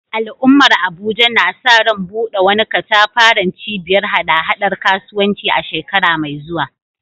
Al’ummar Abuja na sa ran buɗe wani katafaren cibiyar haɗa-haɗar kasuwanci a shekara mai zuwa